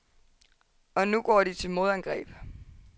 Og nu går de til modangreb.